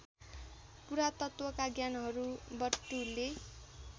पुरातत्त्वका ज्ञानहरू बटुले